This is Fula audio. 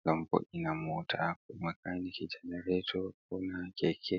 ngam be vo’ina mota. ko makaniki jenarato ko ha keke.